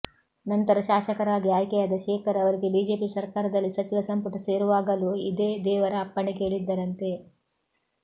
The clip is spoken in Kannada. ನಂತರ ಶಾಸಕರಾಗಿ ಆಯ್ಕೆಯಾದ ಶೇಖರ್ ಅವರಿಗೆ ಬಿಜೆಪಿ ಸರ್ಕಾರದಲ್ಲಿ ಸಚಿವ ಸಂಪುಟ ಸೇರುವಾಗಲೂ ಇದೇ ದೇವರ ಅಪ್ಪಣೆ ಕೇಳಿದ್ದರಂತೆ